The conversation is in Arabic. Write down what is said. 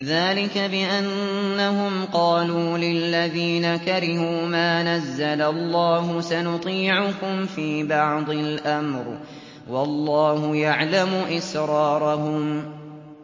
ذَٰلِكَ بِأَنَّهُمْ قَالُوا لِلَّذِينَ كَرِهُوا مَا نَزَّلَ اللَّهُ سَنُطِيعُكُمْ فِي بَعْضِ الْأَمْرِ ۖ وَاللَّهُ يَعْلَمُ إِسْرَارَهُمْ